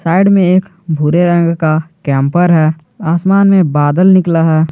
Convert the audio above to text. Add में एक भूरे रंग का कैंपर है आसमान में बादल निकला है।